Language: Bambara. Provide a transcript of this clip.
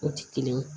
O ti kelen ye